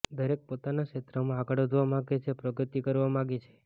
દરેક પોતાના ક્ષેત્રમાં આગળ વધવા માગે છે પ્રગતિ કરવા માગે છે